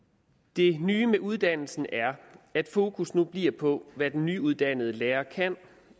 det nye ved uddannelsen er at fokus nu bliver på hvad den nyuddannede lærer kan